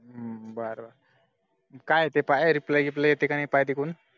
बर बर, मग काय ते काय reply reply येते कि नाय काय तीतून